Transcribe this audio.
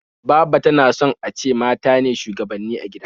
Baba ta na son a ce mata ne shugabanni a gida